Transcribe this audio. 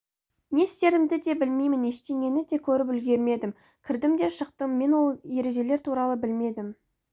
не істерімді де білмеймін ештеңені де көріп үлгермедім кірдім де шықтым мен ол ережелер туралы білмедім